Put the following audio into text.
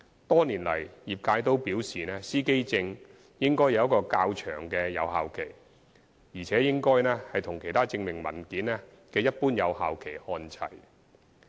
多年來，業界均表示司機證應有較長的有效期，而且應與其他證明文件的一般有效期看齊。